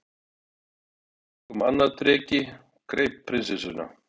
Þá kom annar dreki, greip prinsessuna